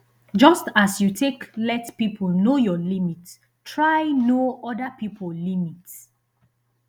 just as you take let pipo know your limit try know oda pipo limit